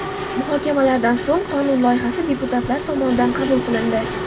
Muhokamalardan so‘ng qonun loyihasi deputatlar tomonidan qabul qilindi.